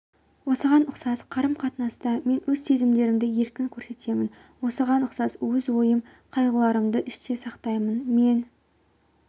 осыған ұқсас қарым-қатынаста мен өз сезімдерімді еркін көрсетемін осыған ұқсас өз уайым қайғыларымды іште сақтаймын мен